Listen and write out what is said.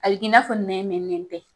A bɛ k'i n'a fɔ nɛn tɛ